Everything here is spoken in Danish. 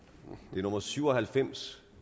det er nummer syv og halvfems